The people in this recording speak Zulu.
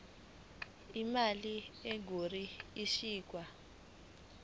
imali engur ikhishwa